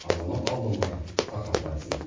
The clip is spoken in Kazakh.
азамат алдонғаров тарқатып айтсын